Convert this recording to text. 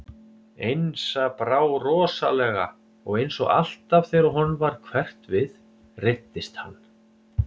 Einsa brá rosalega og eins og alltaf þegar honum varð hverft við reiddist hann.